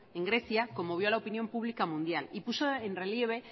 en grecia conmovió a la opinión pública mundial y puso en relieve